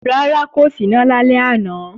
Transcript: Rárá, kò síná lálẹ́ àná